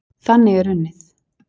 Þannig er unnið.